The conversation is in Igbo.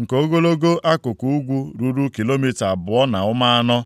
nke ogologo akụkụ ugwu ruru kilomita abụọ na ụma anọ,